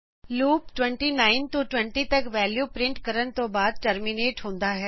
loop 29 ਤੋਂ 20 ਤਕ value ਨੂੰ ਪਰਿੰਟ ਕਰਣ ਤੋਂ ਬਾਅਦ ਟਰਮੀਨੇਟ ਹੁੰਦਾ ਹੈ